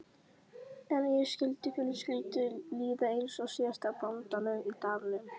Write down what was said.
En skyldi fjölskyldunni líða eins og síðasta bóndanum í dalnum?